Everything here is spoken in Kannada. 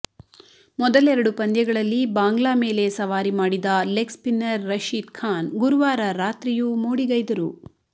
ಮೊದಲೆರಡು ಪಂದ್ಯಗಳಲ್ಲಿ ಬಾಂಗ್ಲಾ ಮೇಲೆ ಸವಾರಿ ಮಾಡಿದ ಲೆಗ್ಸ್ಪಿನ್ನರ್ ರಶೀದ್ ಖಾನ್ ಗುರುವಾರ ರಾತ್ರಿಯೂ ಮೋಡಿಗೈದರು